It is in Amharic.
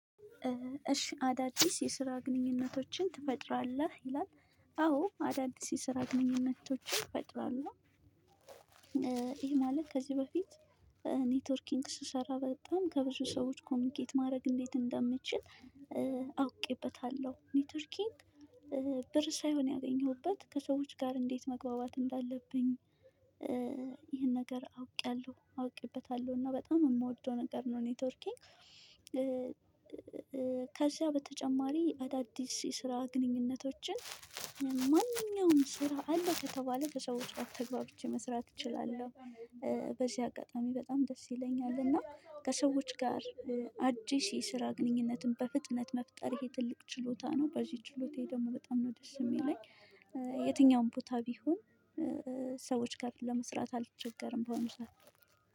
እሺ አዳዲስ የስራ ግንኙነቶችን ትፈጥራለህ ይላል? አዎ አዳዲስ የስራ ግንኙነቶችን እፈጥራለሁ። ይሄ ማለት ከዚህ በፊት። ኔትወርኪንግ ስሰራ በጣም ከብዙ ሰዎች ኮሚኒኬት ማድረግ እንዴት እንደምችል። አውቄበታለሁ ኒውተር ኪንግ። ሳይሆን ያገኘሁበት ከሰዎች ጋር እንዴት መግባባት እንዳለብኝ። ይሄን ነገር አውቄያለሁ አውቄበታለሁ እና በጣም የምወደው ነገር ነው ኔትወርኪንግ። ከዚያ በተጨማሪ አዳዲስ የስራ ግንኙነቶችን ማንኛውም ስራ አለ ከተባለ ከሰዎች ተግባብቼ መስራት እችላለሁ። በዚህ አጋጣሚ በጣም ደስ ይለኛል እና ከሰዎች ጋር። አዲስ የስራ ግንኙነትን በፍጥነት መፍጠር ይሄ ትልቅ ችሎታ ነው። በዚህ ችሎታዬ ደግሞ በጣም ነው ደስ የሚለኝ። የትኛውም ቦታ ቢሆን ሰዎች ጋር ለመስራት አልተቸገርም በሆነ ሰዓት።